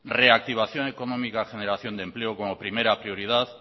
reactivación económica generación de empleo como primera prioridad